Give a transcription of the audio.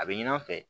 A bɛ ɲin'an fɛ